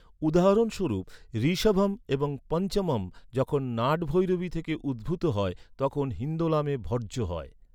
উদাহরণস্বরূপ, ঋষভম এবং পঞ্চমম যখন নাটভৈরবী থেকে উদ্ভূত হয়, তখন হিন্দোলামে ভর্জ্য হয়।